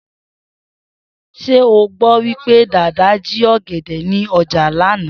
S̩é o gbó̩ wí pé Dàda jí ò̩gè̩dè̩ ní o̩jà lánàá?